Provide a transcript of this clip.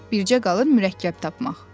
Bircə qalırdı mürəkkəb tapmaq.